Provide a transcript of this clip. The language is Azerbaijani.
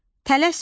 Tələsmə.